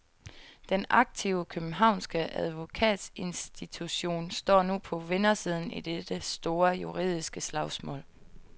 Den aktive, københavnske advokatinstitution står nu på vindersiden i dette store, juridiske slagsmål.